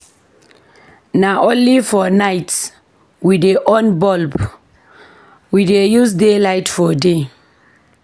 Na only for night we dey on bulb, we dey use daylight for day.